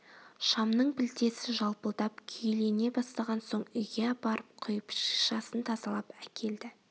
шамның пілтесі жалпылдап күйелене бастаған соң үйге апарып құйып шишасын тазалап әкелд